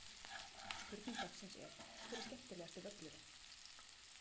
Spurning dagsins er: Hver er skemmtilegasti völlurinn?